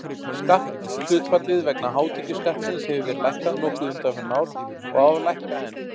Skatthlutfallið vegna hátekjuskattsins hefur verið lækkað nokkuð undanfarin ár og á að lækka enn.